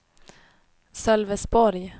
Sölvesborg